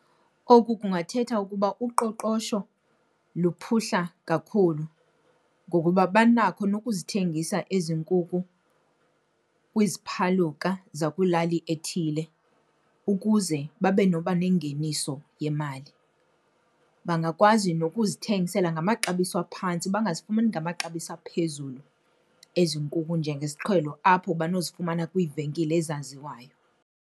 Oku kungathetha ukuba uqoqosho luphuhla kakhulu ngokuba banakho nokuzithengisa ezi nkukhu kwiziphaluka zakwilali ethile ukuze babe nobanengeniso yemali. Bangakwazi nokuzithengisela ngamaxabiso aphantsi bangazifumani ngamaxabiso aphezulu ezi nkukhu njengesiqhelo apho banozifumana kwiivenkile ezaziwayo.